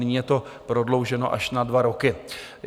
Nyní je to prodlouženo až na dva roky.